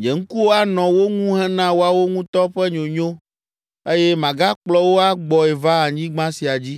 Nye ŋkuwo anɔ wo ŋu hena woawo ŋutɔ ƒe nyonyo eye magakplɔ wo agbɔe va anyigba sia dzi.